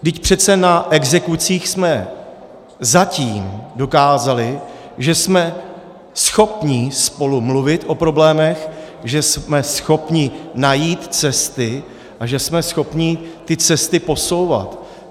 Vždyť přece na exekucích jsme zatím dokázali, že jsme schopni spolu mluvit o problémech, že jsme schopni najít cesty a že jsme schopni ty cesty posouvat.